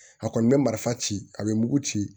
A kɔni bɛ marifa ci a bɛ mugu ci